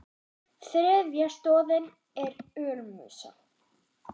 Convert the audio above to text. Þriðja stoðin er ölmusa.